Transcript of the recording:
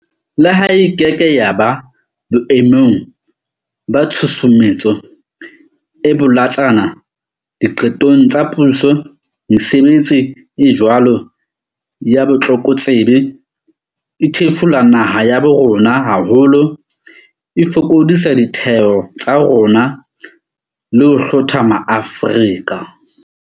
Le ha e keke ya ba boe mong ba tshusumetso e bolotsana diqetong tsa puso, mesebetsi e jwalo ya botlokotsebe e thefula naha ya bo rona haholo, e fokodisa ditheo tsa rona le ho hlotha ma-Afrika.